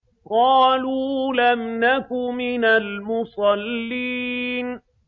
قَالُوا لَمْ نَكُ مِنَ الْمُصَلِّينَ